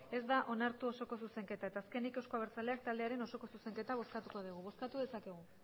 ez da onartu osoko zuzenketa eta azkenik euzko abertzaleak taldearen osoko zuzenketa bozkatuko degu bozkatu dezakegu